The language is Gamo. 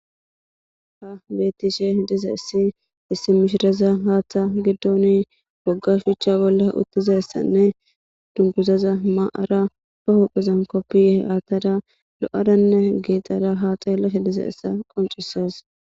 Ha betishe dizaydi issi mishiraza Hatha gidoni woga shucha bolla utizaysne dunguzaza mayafanne ba huphrza kopiye athada lo'adamne gexada ha xeelashe dizaysa qoncises